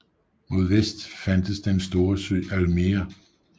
Mod vest fandtes den store sø Almere